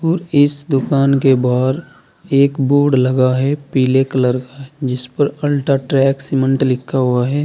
और इस दुकान के बाहर एक बोर्ड लगा है पीले कलर का जिस पर अल्ट्राटेक सीमेंट लिखा हुआ है।